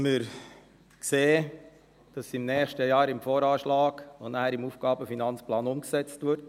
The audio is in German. Wir sehen, dass es nächstes Jahr im VA und nachher im AFP umgesetzt wird.